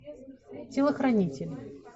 телохранитель